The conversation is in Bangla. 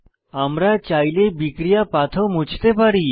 আমরা চাইলে বিক্রিয়া পাথ ও মুছতে পারি